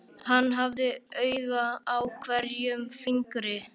Hann hafði auga á hverjum fingri.